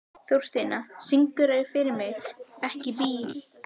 Þórsteina, syngdu fyrir mig „Ekki bíl“.